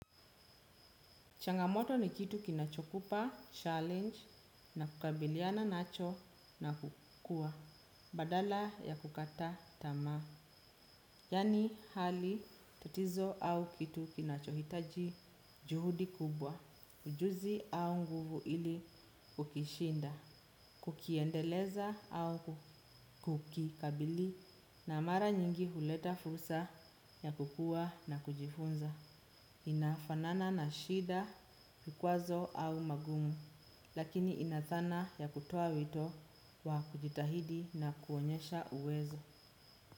Changamoto ni kitu kinachokupa challenge na kukabiliana nacho na kukua badala ya kukata tama. Yani hali tatizo au kitu kinachohitaji juhudi kubwa, ujuzi au nguvu ili kukishinda, kukiendeleza au kukikabili na mara nyingi huleta fusa ya kukua na kujifunza. Inafanana na shida, vikwazo au magumu. Lakini inathana ya kutoa wito wa kujitahidi na kuonyesha uwezo.